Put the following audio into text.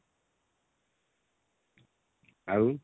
ଆଉ